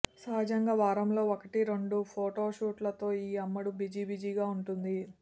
సహజంగా వారంలో ఒకటి రెండు ఫొటో షూట్లతో ఈ అమ్మడు బిజీ బిజీగా ఉంటుంది